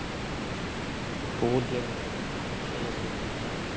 বহুত games আছিল বহুত খেল আছিল আমাৰ time ত